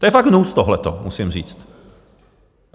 To je fakt hnus, tohleto, musím říct!